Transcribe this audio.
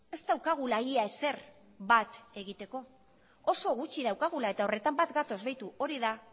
ez daukagula ia ezer bat egiteko oso gutxi daukagula eta horretan bat gatoz beitu hori da